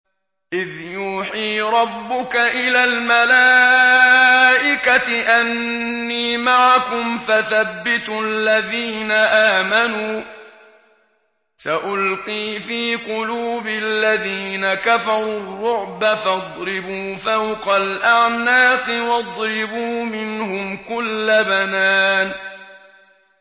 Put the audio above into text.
إِذْ يُوحِي رَبُّكَ إِلَى الْمَلَائِكَةِ أَنِّي مَعَكُمْ فَثَبِّتُوا الَّذِينَ آمَنُوا ۚ سَأُلْقِي فِي قُلُوبِ الَّذِينَ كَفَرُوا الرُّعْبَ فَاضْرِبُوا فَوْقَ الْأَعْنَاقِ وَاضْرِبُوا مِنْهُمْ كُلَّ بَنَانٍ